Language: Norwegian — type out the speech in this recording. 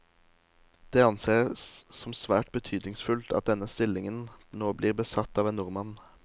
Det anses som svært betydningsfullt at denne stillingen nå blir besatt av en nordmann.